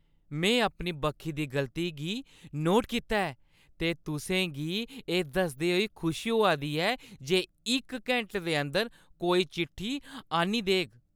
मैं अपनी बक्खी दी गलती गी नोट कीता ऐ ते तुसें गी एह् दसदे होई खुशी होआ दी ऐ जे इक घैंटे दे अंदर कोई चिट्ठी आह्न्नी देग ।